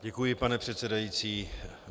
Děkuji, pane předsedající.